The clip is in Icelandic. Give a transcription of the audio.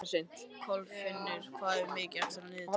Kolfinnur, hvað er mikið eftir af niðurteljaranum?